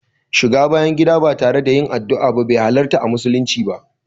Shiga bayan gida ba tare da yin addua ba be halarta a musulunci ba.